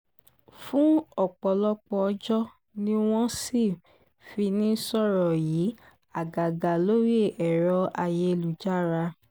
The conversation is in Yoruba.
fún ọ̀pọ̀lọpọ̀ ọjọ́ ni wọ́n sì fi ń sọ̀rọ̀ yìí àgàgà lórí ẹ̀rọ ayélujára